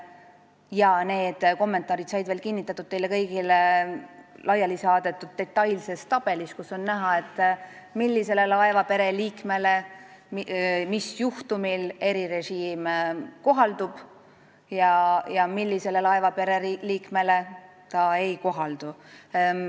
Ja neid kommentaare on veel kinnitatud teile kõigile laiali saadetud detailses tabelis, kus on näha, millisele laevapere liikmele mis juhtumil erirežiim kohaldub ja millisele laevapere liikmele see ei kohaldu.